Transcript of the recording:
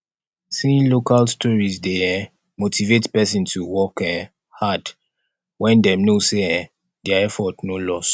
seeing local stories dey um motivate person to work um hard when dem know sey um their effort no loss